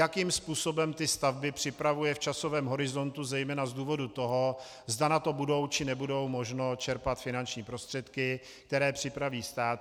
Jakým způsobem ty stavby připravuje v časovém horizontu, zejména z důvodu toho, zda na to bude, či nebude možno čerpat finanční prostředky, které připraví stát.